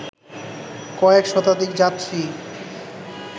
কয়েক শতাধিক যাত্রী